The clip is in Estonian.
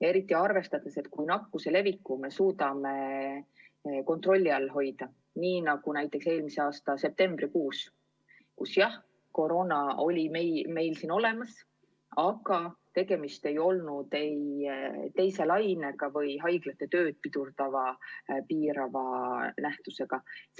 Eesmärk on ju nakkuse levikut kontrolli all hoida, nii nagu oli näiteks eelmise aasta septembrikuus, kus jah, koroona oli juba siin olemas, aga tegemist ei olnud olukorraga, kus haiglate töö oli piiratud.